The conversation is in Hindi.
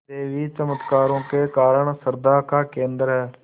देवी चमत्कारों के कारण श्रद्धा का केन्द्र है